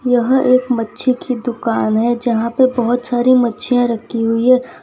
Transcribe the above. यहां एक मच्छी की दुकान है जहां पे बहोत सारी मच्छियाँ रखी हुई है।